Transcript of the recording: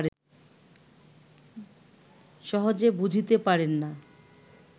সহজে বুঝিতে পারেন না